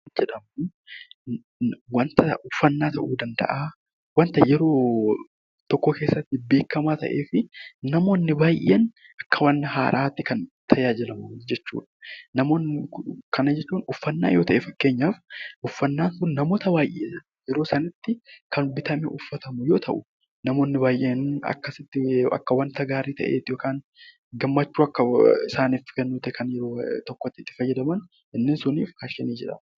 Faashiniin uffannaa ta'uu danda'a. Wanta yeroo tokko keessatti beekamaa ta'ee fi namoonni baay'een akka waan haaraatti itti tajaajilaman jechuudha. Namoonni kun gammachuu akka waan kennuufiitti fayaydamu